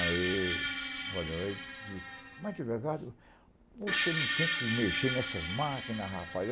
Aí, olha, mas, delegado, você não tem que mexer nessas máquinas, rapaz.